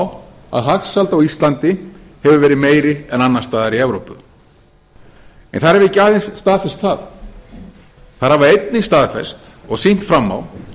á að hagsæld á íslandi hefur verið meiri en annars staðar í evrópu þær hafa ekki aðeins staðfest það þær hafa einnig staðfest og sýnt fram á